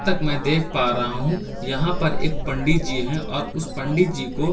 तक मै देख पा रहा हूँ यहाँ पंडित जी है और उस पंडित जी को चार।